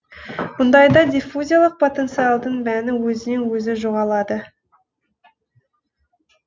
мұндайда диффузиялық потенциалдың мәні өзінен өзі жоғалады